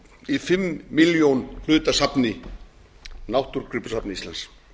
í fimm milljón hluta safni náttúrugripasafns íslands